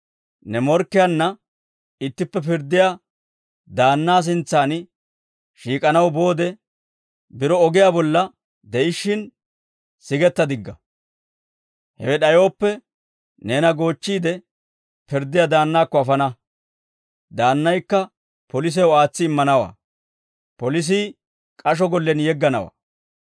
Ne morkkiyaanna ittippe pirddiyaa daannaa sintsan shiik'anaw boode, biro ogiyaa bolla de'ishshin sigetta digga. Hewe d'ayooppe neena goochchiide pirddiyaa daannaakko afana; daannaykka polisew aatsi immanawaa; polisii k'asho gollen yegganawaa.